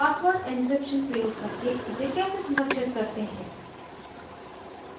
password encryption प्रयोग करके इसे कैसे संरक्षित करते हैं